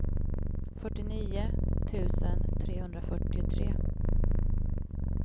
fyrtionio tusen trehundrafyrtiotre